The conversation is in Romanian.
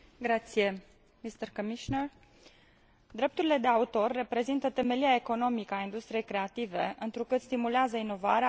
Drepturile de autor reprezintă temelia economică a industriei creative, întrucât stimulează inovarea, activitatea creativă, investițiile și producția.